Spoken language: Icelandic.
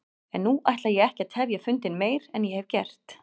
En nú ætla ég ekki að tefja fundinn meir en ég hef gert.